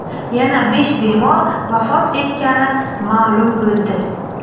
Yana besh bemor vafot etgani ma’lum bo‘ldi.